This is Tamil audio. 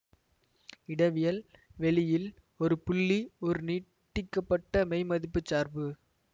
இடவியல் வெளி இல் ஒரு புள்ளி ஒரு நீட்டிக்கப்பட்ட மெய்மதிப்புச் சார்பு